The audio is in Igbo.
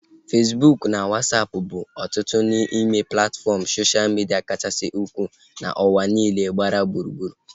Fesbụụk na Wasapụ bụ otu n'ime platfọm soshal midia kachasị ukwuu n'ụwa niile gbaa gburugburu